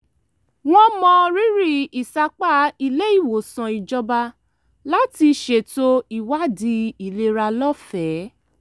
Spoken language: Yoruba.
wọ́n mọrírì ìsapá ilé-ìwòsàn ìjọba láti ṣètò ìwádìí ìlera lọ́fẹ̀ẹ́